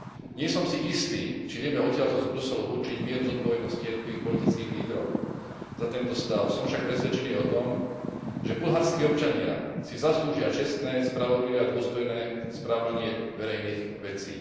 Nie som si istý, či vieme odtiaľto z Bruselu určiť mieru zodpovednosti jednotlivých politických lídrov za tento stav, som však presvedčený o tom, že bulharskí občania si zaslúžia čestné, spravodlivé a dôstojné spravovanie verejných vecí.